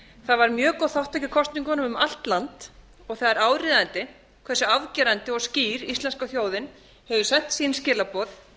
það var mjög góð þátttaka í kosningunum um allt land og það er áríðandi hversu afgerandi og skýr íslenska þjóðin hefur þekkt sín skilaboð